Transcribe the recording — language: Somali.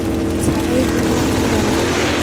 Sacaygu maanta wuu dhalay.